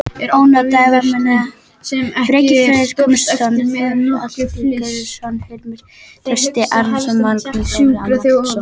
Ónotaðir varamenn: Bjarki Freyr Guðmundsson, Þorsteinn Atli Georgsson, Hilmar Trausti Arnarsson, Magnús Þórir Matthíasson.